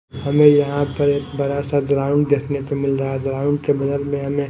हमे यहां पर एक बरा सा ग्राउंड देखने को मिल रहा है। ग्राउंड के बगल मे हमे--